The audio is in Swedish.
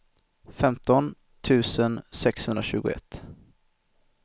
femton tusen sexhundratjugoett